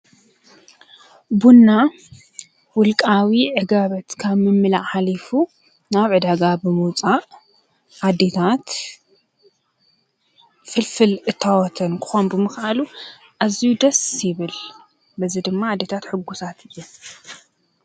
ቡና ውልቃዊ ዕግበት ካብ ምምላእ ሓሊፉ ናብ ዕዳጋ ብምውፃእ ኣዴታት ፍልፍል እታወተን ክኾን ብምኽኣሉ ኣዝዩ ደስ ይብል፡፡ በዚ ድማ ኣዴታት ሕጉሳት እየን፡፡